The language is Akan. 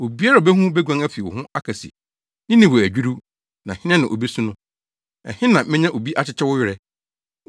Obiara a obehu wo beguan afi wo ho aka se, ‘Ninewe adwiriw, na hena na obesu no?’ Ɛhe na menya obi akyekye wo werɛ?”